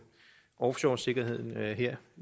offshoresikkerheden her